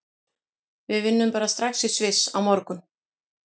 Við vinnum bara strax í Sviss á morgun.